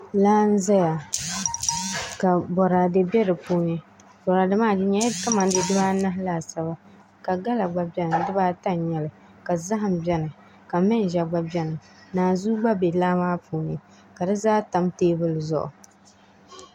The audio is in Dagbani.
Laa n ʒɛya ka boraadɛ bɛ di puuni boraadɛ maa di nyɛla kamani dee dibaanahi laasabu ka gala gba bɛni dibaata n nyɛli ka zaham bɛni ka manʒa gba bɛni naanzuu gba bɛ laa maa puuni ka di zaa tam teebuli zuɣu